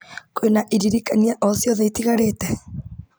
kwĩna iririkania o ciothe itigarĩte